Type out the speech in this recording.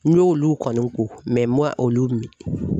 N y'olu kɔni ko mɛ ma olu min